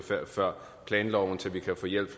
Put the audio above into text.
før planloven til at vi kan få hjælp